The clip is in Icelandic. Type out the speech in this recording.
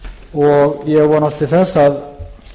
og ég vonast til þess að